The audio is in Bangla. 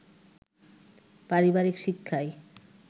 পারিবারিক শিক্ষাই